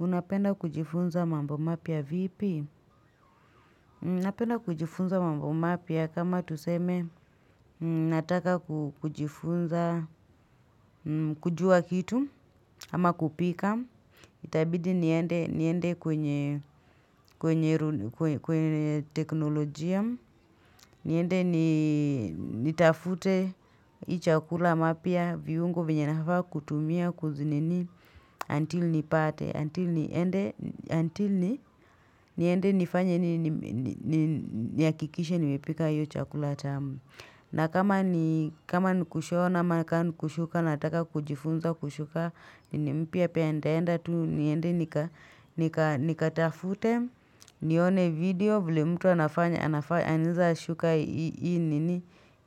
Unapenda kujifunza mambo mapia vipi? Napenda kujifunza mambo mapia kama tuseme. Nataka kujifunza, kujua kitu, ama kupika. Itabidi niende kwenye teknolojia. Niende ni tafute i chakula mapia viungo vinyanafaa kutumia kuzinini until nipate. Until niende nifanye niya kikishe niwepika yu chakula tamu. Na kama ni kushona maka nukushuka nataka kujifunza kushuka ni mpia pendaenda tu niende. Nikatafute nione video vile mtu anafanya anza shuka i nini.